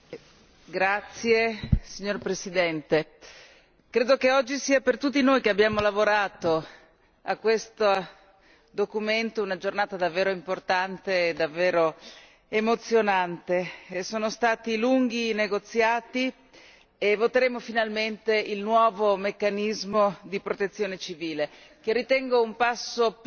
Signor Presidente, onorevoli colleghi, credo che oggi sia, per tutti noi che abbiamo lavorato a questo documento, una giornata davvero importante ed emozionante. Sono stati lunghi i negoziati e voteremo finalmente il nuovo meccanismo di protezione civile, che ritengo un passo piccolo ma importante